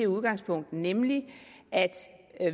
udgangspunktet nemlig at